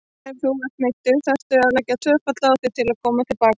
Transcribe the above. Þegar þú ert meiddur þarftu að leggja tvöfalt á þig til að koma til baka.